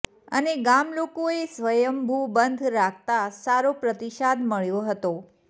અને ગામલોકોએ સ્વયંભૂ બંધ રાખતા સારો પ્રતિસાદ મળ્યો હતો